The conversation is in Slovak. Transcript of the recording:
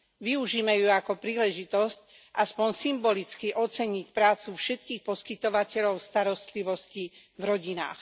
Využime ju ako príležitosť aspoň symbolicky oceniť prácu všetkých poskytovateľov starostlivosti v rodinách.